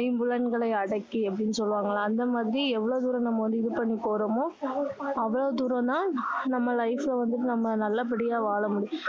ஐம்புலங்கலங்களையும் அடக்கி அப்படின்னு சொல்லுவாங்கல்ல அந்த மாதிரி எவ்வளோ தூரம் நம்ம வந்து இது பண்ணி போறோமோ அவ்வளோ தூரம் தான் நம்ம life அ வந்துட்டு நம்ம நல்லபடியா வாழ முடியும்